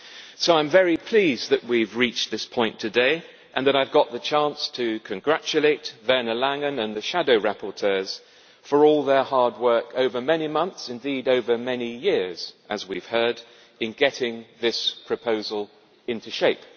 So I am very pleased that we have reached this point today and that I have got the chance to congratulate Werner Langen and the shadow rapporteurs for all their hard work over many months, indeed over many years, as we have heard, in getting this proposal into shape.